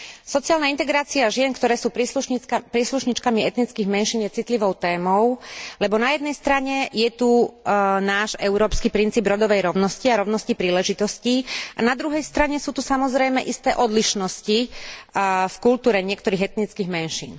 Sociálna integrácia žien, ktoré sú príslušníčkami etnických menšín, je citlivou témou, lebo na jednej strane je tu náš európsky princíp rodovej rovnosti a rovnosti príležitostí, a na druhej strane sú tu samozrejme isté odlišnosti v kultúre niektorých etnických menšín.